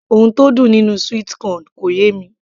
ohun tó dùn nínú sweet corn kò yé mi